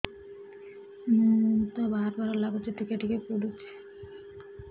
ମୁତ ବାର୍ ବାର୍ ଲାଗୁଚି ଟିକେ ଟିକେ ପୁଡୁଚି